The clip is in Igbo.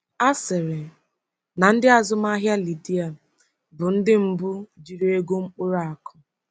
A sịrị na ndị azụmahịa Lidia bụ ndị mbu jiri ego mkpụrụ akụ.